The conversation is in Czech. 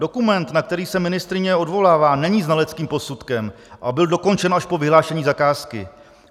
Dokument, na který se ministryně odvolává, není znaleckým posudkem a byl dokončen až po vyhlášení zakázky.